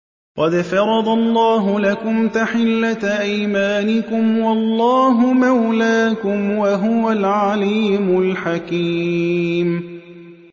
قَدْ فَرَضَ اللَّهُ لَكُمْ تَحِلَّةَ أَيْمَانِكُمْ ۚ وَاللَّهُ مَوْلَاكُمْ ۖ وَهُوَ الْعَلِيمُ الْحَكِيمُ